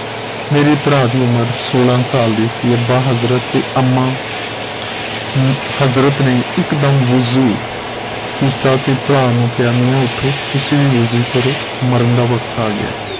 ਮੇਰੇ ਭਰਾ ਦੀ ਉਮਰ ਸੋਲਾਂ ਸਾਲ ਦੀ ਸੀ ਅੱਬਾ ਹਜ਼ਰਤ ਤੇ ਅੰਮਾ ਅਹ ਹਜ਼ਰਤ ਨੇ ਇਕ ਦਮ ਹੁਜੁ ਕੀਤਾ ਤੇ ਤੇ ਭਰਾ ਨੂੰ ਕਿਹਾ ਮੀਆ ਉਠੋ ਤੁਸੀਂ ਵੀ ਹੁਜੇ ਕਰੋ ਮਰਨ ਦਾ ਵਕ਼ਤ ਆ ਗਿਆ ਹੈ